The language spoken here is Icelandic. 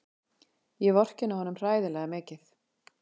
Ég vorkenni honum hræðilega mikið.